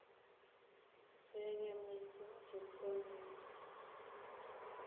Yoege mising chepto nin